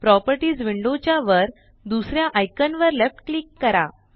properties window च्या वर दुसऱ्या आइकान वर लेफ्ट क्लिक करा